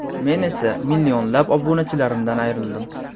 Men esa millionlab obunachilarimdan ayrildim.